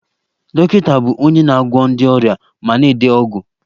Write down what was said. Dọkịta bụ onye na-agwọ ndị ọrịa ma na-ede ọgwụ